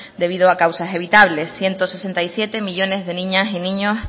debido a causas evitables ciento sesenta y siete millónes de niñas y niños